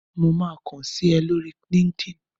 Mo máa kán sí ọ ní orí linkedin.